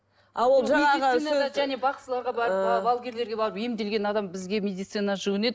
балгерлерге барып емделген адам бізге медицинаға жүгінеді